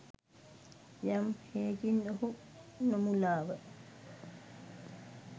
යම් හෙයකින් ඔහු නොමුලාව